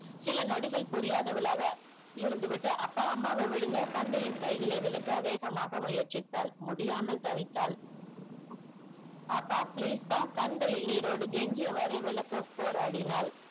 சில நொடிகள் புரியாதவளாக இருந்து விட்டு அப்பா அம்மாவே விடுங்க தந்தையின் கைகளை விழக்க வேகமாக முயற்ச்சித்தால் முடியாமல் தவித்தால் அப்பா please ப்பா கண்களில் நிரோட கேஞ்சியவாரே விழக்க போரடின்னால்